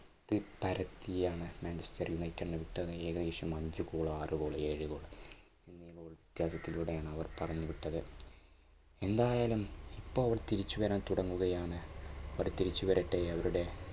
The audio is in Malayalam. പരത്തിയാണ് മാഞ്ചസ്റ്റർ യുണൈറ്റഡിനെ വിട്ടത് ഏകദേശം അഞ്ച് goal ആറ് goal ഏഴ് goal എന്നി വ്യത്യാസത്തിലൂടെയാണ് അവർ പറഞ്ഞുവിട്ടത്. എന്തായാലും ഇപ്പൊ അവർ തിരിച്ചു വരാൻ തുടങ്ങുകയാണ് അവർ തിരിച്ചു വരട്ടെ. അവരുടെ